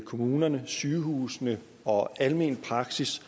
kommunerne sygehusene og almenpraksis